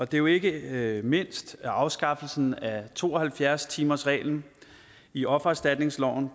det er jo ikke mindst afskaffelsen af to og halvfjerds timersreglen i offererstatningsloven